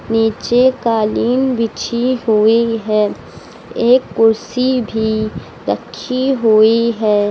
नीचे कालीन बिछी हुई है एक कुर्सी भी रखी हुई है।